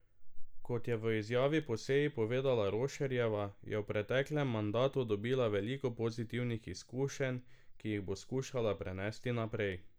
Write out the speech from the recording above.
Kot je v izjavi po seji povedala Rošerjeva, je v preteklem mandatu dobila veliko pozitivnih izkušenj, ki jih bo skušala prenesti naprej.